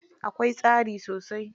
Akwai tsari sosai?